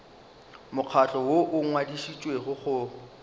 mokgatlo woo o ngwadišitšwego go